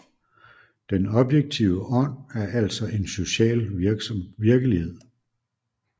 Den objektive Ånd er altså en social virkelighed